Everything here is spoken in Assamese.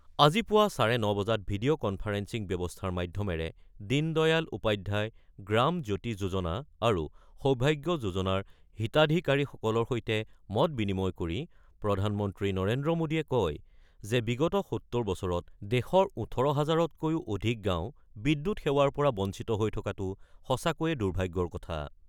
আজি পুৱা চাৰে ৯ বজাত ভিডিঅ' কনফাৰেন্সিং ব্যৱস্থাৰ মাধ্যমেৰে দীন দয়াল উপাধ্যায় গ্ৰাম জ্যোতি যোজনা আৰু সৌভাগ্য যোজনাৰ হিতাধিকাৰীসকলৰ সৈতে মত-বিনিময় কৰি প্ৰধানমন্ত্ৰী নৰেন্দ্ৰ মোডীয়ে কয় যে, বিগত ৭০ বছৰত দেশৰ ১৮ হাজাৰতকৈও অধিক গাঁও বিদ্যুৎ সেৱাৰ পৰা বঞ্চিত হৈ থকাটো সঁচাকৈয়ে দুৰ্ভাগ্যৰ কথা।